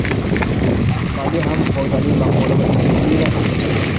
Qiziqarli ham foydali maqola va intervyular.